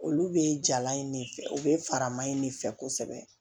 Olu bee jalan in de fɛ u bɛ faraman in de fɛ kosɛbɛ